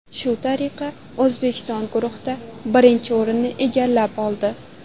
Shu tariqa, O‘zbekiston guruhda birinchi o‘rinni egallab oldi.